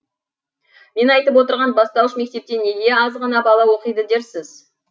мен айтып отырған бастауыш мектепте неге аз ғана бала оқиды дерсіз